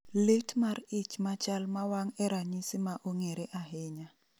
Lit mar ich machal ma wang e ranyisi ma ong'ere ahinya